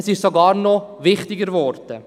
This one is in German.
Es ist sogar noch wichtiger geworden.